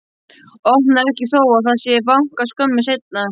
Opnar ekki þó að það sé bankað skömmu seinna.